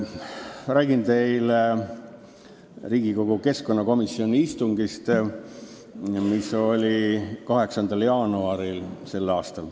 Ma räägin teile Riigikogu keskkonnakomisjoni istungist, mis oli 8. jaanuaril s.